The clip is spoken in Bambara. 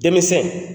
Dɛmɛsɛn